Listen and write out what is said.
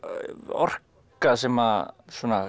orka sem